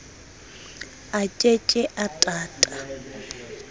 a ke ke a tata